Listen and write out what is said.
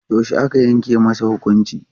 Yaushe aka yanke masa hukunci?